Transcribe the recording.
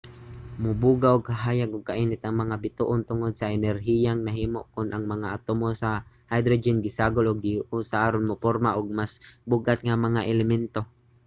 mubuga og kahayag ug kainit ang mga bituon tungod sa enerhiyang nahimo kon ang mga atomo sa hydrogen gisagol o gihiusa aron muporma og mas bug-at nga mga elemento